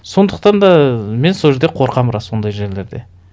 сондықтан да мен сол жерде қорқамын рас ондай жерлерде